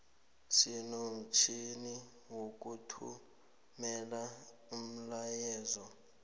sinomtjhini wokuthumela umlayeezo